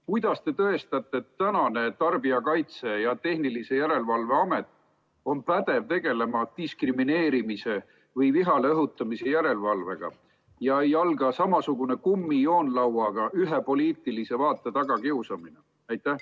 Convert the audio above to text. Kuidas te tõestate, et tänane Tarbijakaitse ja Tehnilise Järelevalve Amet on pädev tegelema diskrimineerimise või vihale õhutamise järelevalvega ja ei alga samasugune kummijoonlauaga ühe poliitilise vaate tagakiusamine?